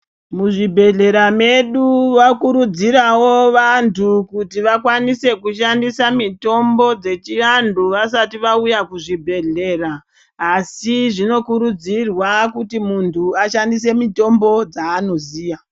Muzvibhehlera medu vokurudzirawo vantu kuti vakwanise kushandisa mitombo dzechiandu vasati auya kuzvibhedhlera asi zvinokurudzirwa kuti mundu ashandise mitombo dzaanoziya.